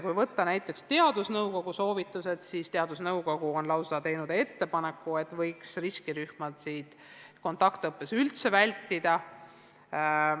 Kui vaadata näiteks teadusnõukogu soovitusi, siis teadusnõukogu on teinud lausa ettepaneku, et riskirühmade kaasamist võiks kontaktõppe korral üldse vältida.